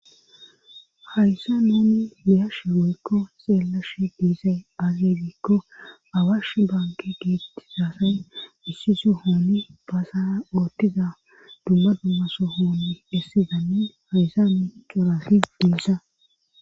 Hayssa noni miyashe woykko xeellashe diisay azegikko awash banke geettisafey ussiso hooni baasara oottiza dumma dummaso hooni dessi zammin hayssa mi qorahis diisa.